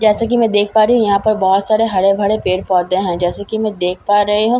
जैसे कि मैं देख पा रही हूं यहां पर बहुत सारे हरे भरे पेड़ पौधे हैं जैसे कि मैं देख पा रही मो --